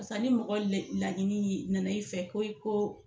Barisa ni mɔgɔ laɲini ɲi nana i fɛ ko i ko